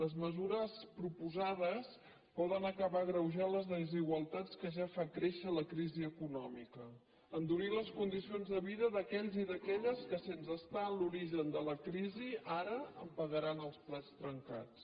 les mesures proposades poden acabar agreujant les desigualtats que ja fa créixer la crisi econòmica endurir les condicions de vida d’aquells i d’aquelles que sense estar en l’origen de la crisi ara en pagaran els plats trencats